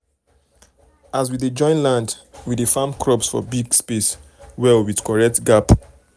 as we dey join land we dey farm crops for big space well with correct gap.